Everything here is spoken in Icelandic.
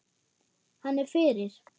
Hann er fyrir.